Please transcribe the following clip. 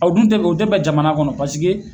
o dun tɛ o tɛ bɛn jamana kɔnɔ paseke